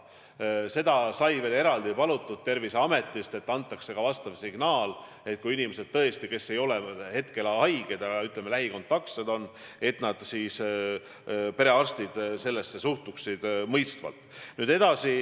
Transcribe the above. Terviseametit sai veel ekstra palutud, et antaks sellekohane signaal, et kui seni terved inimesed on lähikontaktis haigetega, siis perearstid suhtuksid sellesse mõistvalt.